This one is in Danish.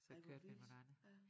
Så kørte vi med nogle andre